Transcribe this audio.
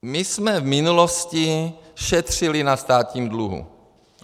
My jsme v minulosti šetřili na státním dluhu.